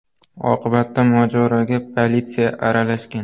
Oqibatda mojaroga politsiya aralashgan.